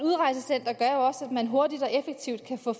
at der også at man hurtigt og effektivt kan få